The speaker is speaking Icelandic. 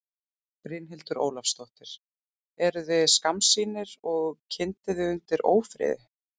Brynhildur Ólafsdóttir: Eruð þið skammsýnir og kyndið þið undir ófriði?